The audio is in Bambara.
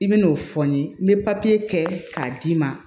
I bɛn'o fɔ n ye n bɛ papiye kɛ k'a d'i ma